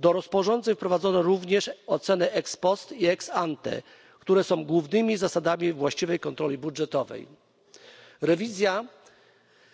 Do rozporządzeń wprowadzono również oceny ex post i ex ante, które są głównymi zasadami właściwej kontroli budżetowej. Rewizja